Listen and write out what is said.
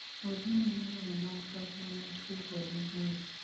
olly manyo romo mag pak ma matkio kod uhuru